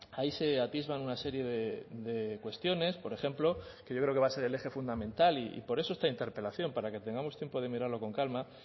ahí se atisban una serie de cuestiones por ejemplo que yo creo que va a ser el eje fundamental y por eso esta interpelación para que tengamos tiempo de mirarlo con calma